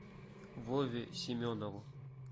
вове семенову